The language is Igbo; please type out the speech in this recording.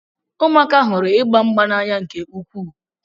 Ụmụaka hụrụ ịgba mgba n'anya nke ukwuu.